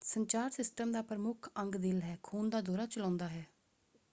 ਸੰਚਾਰ ਸਿਸਟਮ ਦਾ ਪ੍ਰਮੁੱਖ ਅੰਗ ਦਿਲ ਹੈ ਖੂਨ ਦਾ ਦੌਰਾ ਚਲਾਉਂਦਾ ਹੈ।